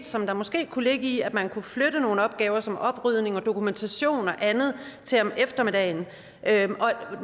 som der måske kunne ligge i at man kunne flytte nogle opgaver som oprydning og dokumentation og andet til om eftermiddagen